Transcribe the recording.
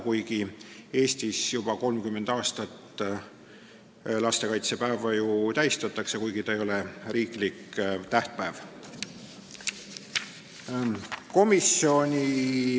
Kuigi Eestis tähistatakse lastekaitsepäeva juba 30 aastat, ei ole see riiklik tähtpäev.